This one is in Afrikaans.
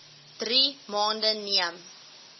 drie maande neem